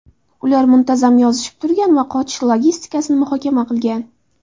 Ular muntazam yozishib turgan va qochish logistikasini muhokama qilgan.